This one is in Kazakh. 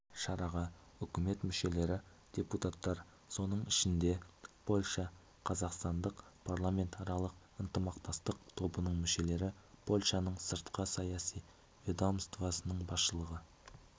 шараға үкімет мүшелері депутаттар соның ішінде польша-қазақстан парламентаралық ынтымақтастық тобының мүшелері польшаның сыртқы саяси ведомствосының басшылығы